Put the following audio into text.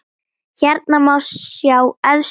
Hérna má sjá efstu menn